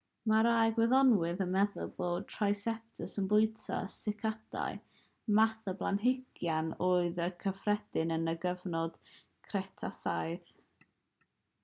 mae rhai gwyddonwyr yn meddwl bod triceratops yn bwyta sycadau math o blanhigyn oedd yn gyffredin yn y cyfnod cretasaidd